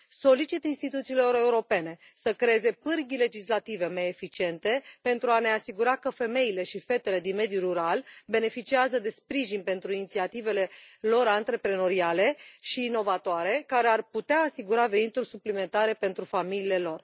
Solicit instituțiilor europene să creeze pârghii legislative mai eficiente pentru a ne asigura că femeile și fetele din mediul rural beneficiază de sprijin pentru inițiativele lor antreprenoriale și inovatoare, care ar putea asigura venituri suplimentare pentru familiile lor.